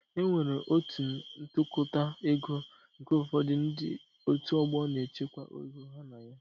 E nwere otu ntụkọta ego nke ụfọdụ ndị otu ọgbọ na-echekwa ego ha na ya